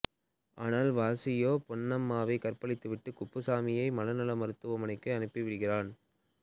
ஆனால் வாசியோ பொன்னம்மாவை கற்பழித்துவிட்டு குப்புசாமியை மனநல மருத்துவமனைக்கு அனுப்பிவிடுகிறான்